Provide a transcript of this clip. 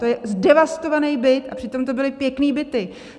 To je zdevastovaný byt, a přitom to byly pěkné byty.